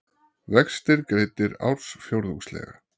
Vextir greiddir ársfjórðungslega